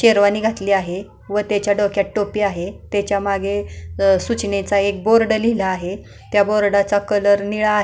शेरवानी घातली आहे व त्याच्या डोक्यात आहे त्याच्या मागे सूचनेचा बोर्ड लिहिलेला आहे त्या बोर्डाचा कलर निळा आहे.